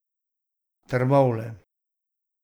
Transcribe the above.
Trbovlje.